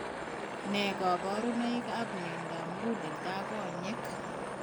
Nee kaparunoik ap miondap muguleldo ak konyek